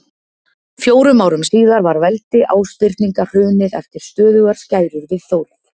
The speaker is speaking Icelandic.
Fjórum árum síðar var veldi Ásbirninga hrunið eftir stöðugar skærur við Þórð.